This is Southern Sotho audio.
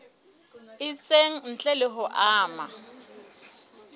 itseng ntle le ho ama